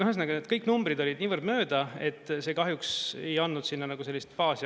Ühesõnaga, kõik numbrid olid niivõrd mööda, et see kahjuks ei andnud sinna nagu sellist baasi.